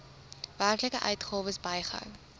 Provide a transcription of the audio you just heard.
werklike uitgawes bygehou